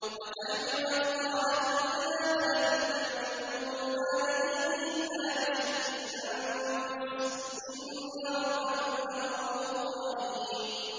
وَتَحْمِلُ أَثْقَالَكُمْ إِلَىٰ بَلَدٍ لَّمْ تَكُونُوا بَالِغِيهِ إِلَّا بِشِقِّ الْأَنفُسِ ۚ إِنَّ رَبَّكُمْ لَرَءُوفٌ رَّحِيمٌ